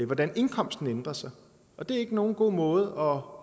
hvordan indkomsten ændrer sig og det er ikke nogen god måde